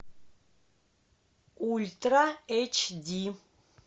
ультра эйч ди